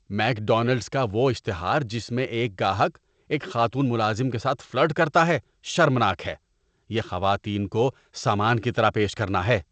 ‏Make Donald's کا وہ اشتہار جس میں ایک گاہک ایک خاتون ملازم کے ساتھ فلرٹ کرتا ہے شرمناک ہے، یہ خواتین کو سامان کی طرح پیش کرنا ہے‏۔